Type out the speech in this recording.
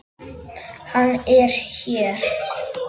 Hann er hér.